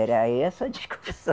Era essa a discussão.